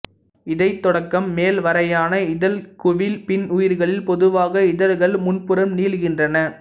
இடை தொடக்கம் மேல் வரையான இதழ்குவி பின்னுயிர்களில் பொதுவாக இதழ்கள் முன்புறம் நீள்கின்றன